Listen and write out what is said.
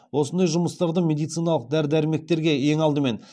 осындай жұмыстарды медициналық дәрі дәрмектерге ең алдымен